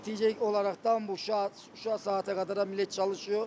Nəticə olaraktan bu şa, şu saata qədər hə, millət çalışıyor.